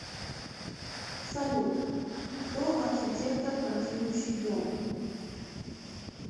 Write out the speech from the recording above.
салют кто архитектор танцующий дом